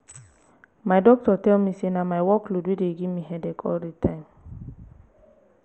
my doctor tell me say na my work load wey dey give me headache all the time